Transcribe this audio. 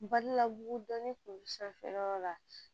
Balila bugu dɔnni kun bɛ sanfɛ yɔrɔ la